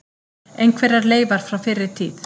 Einhverjar leifar frá fyrri tíð.